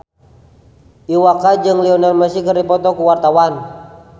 Iwa K jeung Lionel Messi keur dipoto ku wartawan